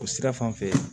O sira fan fɛ